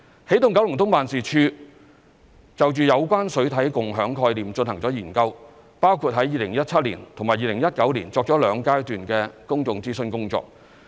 起動九龍東辦事處就有關水體共享概念進行了研究，包括於2017年及2019年作兩階段的公眾諮詢工作。